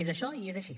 és això i és així